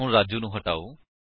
ਹੁਣ ਰਾਜੂ ਨੂੰ ਹਟਾਓ